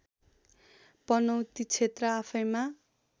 पनौती क्षेत्र आफैमा